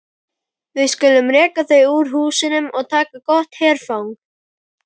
Við skulum reka þau úr húsum og taka gott herfang!